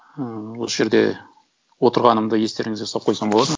ыыы осы жерде отырғанымды естеріңізге салып қойсам болады ма